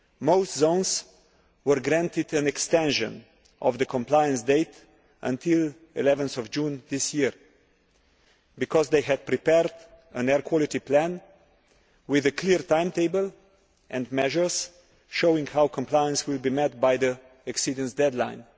Most zones were granted an extension of the compliance date until 11 June this year because they had prepared an air quality plan with a clear timetable and measures showing how compliance will be met by the exceedance deadline.